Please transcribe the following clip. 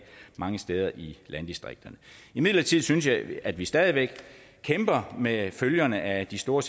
mange steder i landdistrikterne imidlertid synes jeg at vi stadig væk kæmper med følgerne af de store